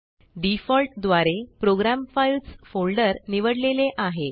default द्वारे program files folder निवडलेले आहे